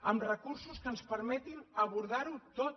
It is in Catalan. amb recursos que ens permetin abordarho tot